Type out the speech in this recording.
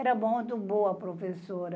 Era muito boa a professora.